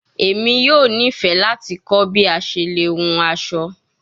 Emi yoo nifẹ lati kọ bi a ṣe le hun aso